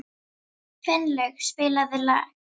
Finnlaug, spilaðu lag.